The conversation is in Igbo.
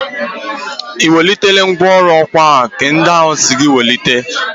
I wetele ngwọrụ ọkwa nka ndi ahụ m si gị wete.